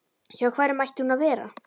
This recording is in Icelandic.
Hjá hverjum ætti hún að vera?